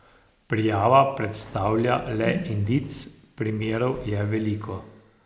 Prijava predstavlja le indic, primerov je veliko.